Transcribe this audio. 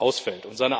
ausfällt.